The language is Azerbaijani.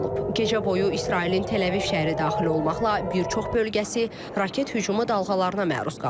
Gecə boyu İsrailin Təl-Əviv şəhəri daxil olmaqla bir çox bölgəsi raket hücumu dalğalarına məruz qalıb.